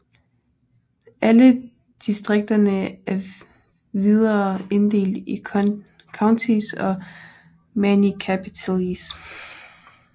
Alle distrikterne er videre inddelt i counties og municipalities